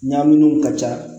Ɲamaminɛnw ka ca